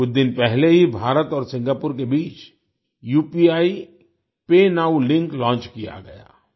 कुछ दिन पहले ही भारत और सिंगापुर के बीच उपीपाय नोव लिंक लॉन्च किया गया